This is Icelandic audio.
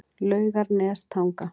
Laugarnestanga